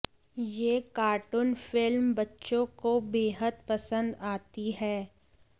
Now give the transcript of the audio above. ये cartoon film बच्चों को बेहद पसंद आती है